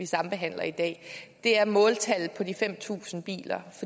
sambehandling i dag er måltallet på de fem tusind biler